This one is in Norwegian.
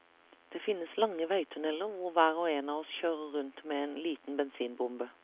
Det finnes lange veitunneler hvor hver og en av oss kjører rundt med en liten bensinbombe.